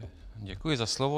Děkuji za slovo.